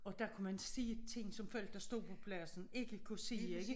Og der kunne man se ting som folk der stod på pladsen ikke kunne se ikke